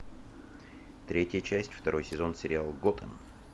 третья часть второй сезон сериал готэм